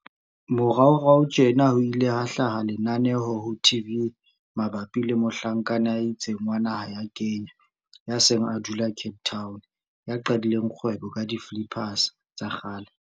Moraorao tjena ho ile ha hlaha lenaneo ho TV mabapi le mohlankana ya itseng wa naha ya Kenya, ya seng a dula Cape Town, ya qadileng kgwebo ka di-flippers, diphephetjhana, tsa kgale.